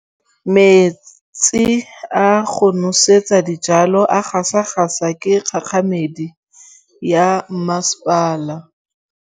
Metsi a go nosetsa dijalo a gasa gasa ke kgogomedi ya masepala.